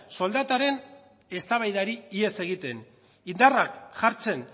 soldataren eztabaidari ihes egiten indarrak jartzen